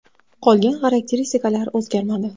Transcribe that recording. Qolgan xarakteristikalar o‘zgarmadi.